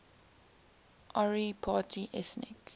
ori party ethnic